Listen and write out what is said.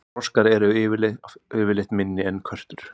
froskar eru oftast minni en körtur